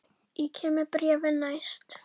Ég kem með bréfin næst.